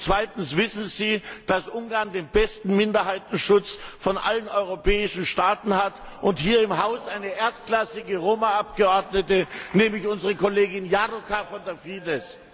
Zweitens Wissen Sie, dass Ungarn den besten Minderheitenschutz von allen europäischen Staaten hat und hier im Haus eine erstklassige Roma Abgeordnete hat, nämlich unsere Kollegin Járóka von der Fidesz?